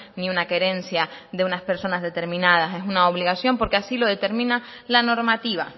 ni una querencia de unas personas determinadas es una obligación porque así lo determina la normativa